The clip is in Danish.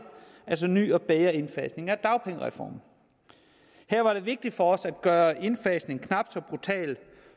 ny og bedre indfasning af dagpengereformen her var det vigtigt for os at gøre indfasningen knap så brutal